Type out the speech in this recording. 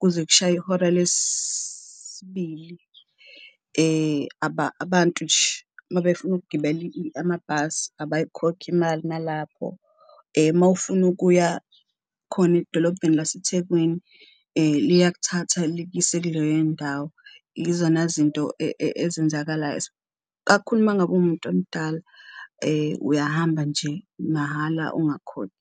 kuze kushaye ihora lesibili abantu nje mabefuna ukugibela amabhasi abayikhokhi imali nalapho. Mawufuna ukuya khona edolobheni laseThekwini liyakuthatha likuyise kuleyo ndawo, izona zinto ezenzakalayo, kakhulu uma ngabe umuntu omdala uyahamba nje mahhala ungakhokhi.